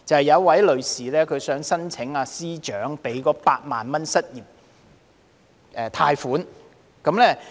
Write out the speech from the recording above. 有一名女士想申請財政司司長推出的8萬元失業貸款。